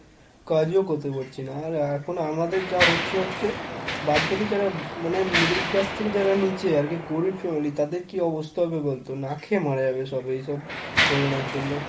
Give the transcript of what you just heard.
কাজও করতে পারছি না আর এখন আমাদের যা হচ্ছে হচ্ছে, বাদবাকি যারা মানে middle class থেকে যারা নিচে আর কি গরীব family তাদের কি অবস্থা হবে বলতো না খেয়ে মারা যাবে সব এইসব corona র জন্য।